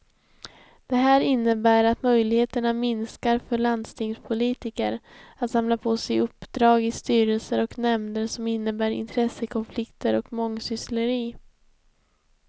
Det här innebär att möjligheterna minskar för landstingspolitiker att samla på sig uppdrag i styrelser och nämnder som innebär intressekonflikter och mångsyssleri.